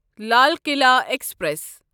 Lal Qila express